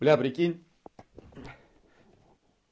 бля прикинь